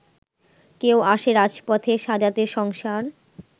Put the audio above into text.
কেউ আসে রাজপথে সাজাতে সংসার